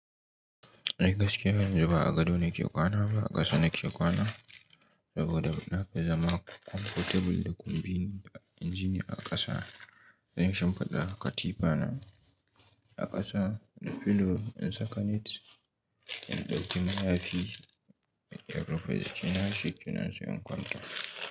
Ai gaskiya yanzu ba a gado nake kwana ba a ƙasa nake kwana saboda na fi zama comfortable da convinient inji ni a ƙasa. Zan yi shimfiɗa akatifa na a ƙasa da pillow in saka net in ɗauki maya fi. Se in rufe jiki na shikenan sai in kwanta.